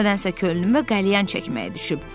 Nədənsə könlümə qəlyan çəkməyə düşüb.